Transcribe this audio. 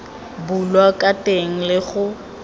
bulwa ka teng le go